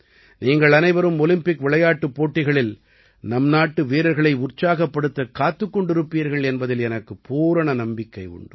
நீங்கள் அனைவரும் ஒலிம்பிக் விளையாட்டுப் போட்டிகளில் நம்நாட்டு வீரர்களை உற்சாகப்படுத்தக் காத்துக் கொண்டிருப்பீர்கள் என்பதில் எனக்குப் பூரண நம்பிக்கை உண்டு